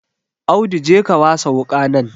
Audu je ka wasa wuƙa nan